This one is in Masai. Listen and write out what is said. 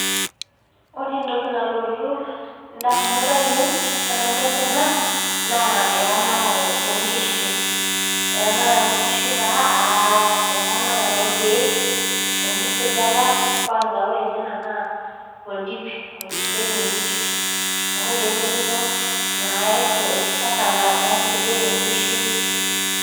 Ore entoki nalotu indaminot ainei tenadol enaa naa eramatare oonkishu, eramatare oonkishu aa eramatare orkiek, enkisujata (Kwanza) ore enaa naa oldip oisujengi inkishu, inkoitoi ngejuko naisujeki inkishu